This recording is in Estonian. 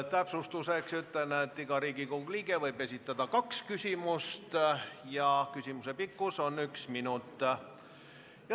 Täpsustuseks ütlen, et iga Riigikogu liige võib esitada kaks küsimust ja küsimuse pikkus on üks minut.